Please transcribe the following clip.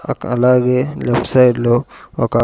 అక్క అలాగే left side లో ఒక.